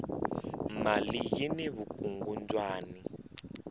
mali yini vukungundwani